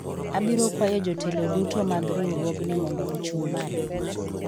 abiro kwayo jotelo duto mag riwruogni mondo ochung' malo